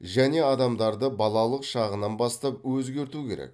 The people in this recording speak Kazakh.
және адамдарды балалық шағынан бастап өзгерту керек